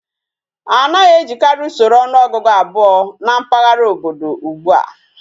Anaghi ejikari Usoro onuogugu abuo na mpaghara obodo ugbua